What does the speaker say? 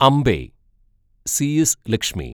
Ambai C S Lakshmi